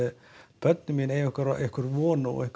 börnin mín eiga einhverja von og